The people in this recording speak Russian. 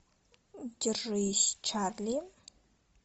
держись чарли